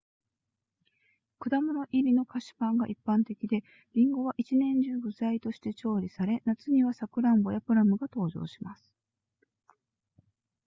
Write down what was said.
果物入りの菓子パンが一般的でリンゴは1年中具材として調理され夏にはサクランボやプラムが登場します